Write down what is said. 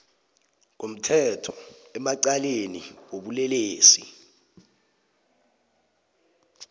ngomthetho emacaleni wobulelesi